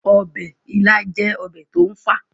ọbẹ̀ ilá jẹ́ ọbẹ̀ tó ń fà